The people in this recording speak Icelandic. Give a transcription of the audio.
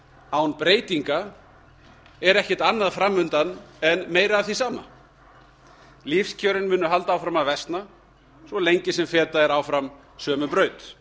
án breytinga er ekkert annað framundan en meira af því sama lífskjörin munu halda áfram upp á að versna svo lengi sem fetað er áfram sömu braut